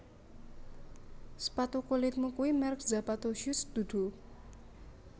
Sepatu kulitmu kui merk Zapato Shoes dudu